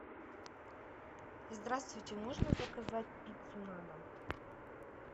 здравствуйте можно заказать пиццу на дом